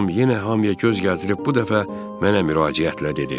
Tom yenə hamıya göz gəzdirib bu dəfə mənə müraciətlə dedi: